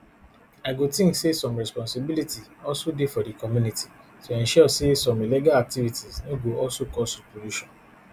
i go think say some responsibility also dey for di community to ensure say some illegal activities no go also cause repollution